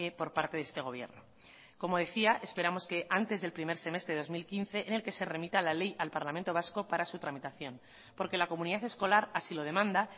por parte de este gobierno como decía esperamos que antes del primer semestre del dos mil quince en el que se remita la ley al parlamento vasco para su tramitación porque la comunidad escolar así lo demanda